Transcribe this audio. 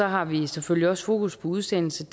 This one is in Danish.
har vi selvfølgelig også fokus på udsendelse